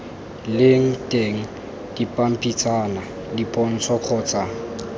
leng teng dipampitshana dipontsho kgotsa